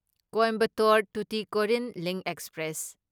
Coimbatore Tuticorin link express